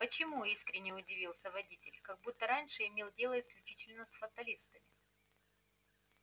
почему искренне удивился водитель как будто раньше имел дело исключительно с фаталистами